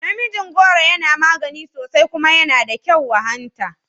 Namijin goro yana magani sosai kuma yana da kyau wa hanta